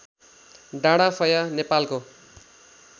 डाँडाफया नेपालको